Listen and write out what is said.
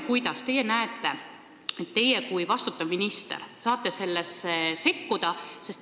Kuidas te näete, kui palju saate teie vastutava ministrina sellesse sekkuda?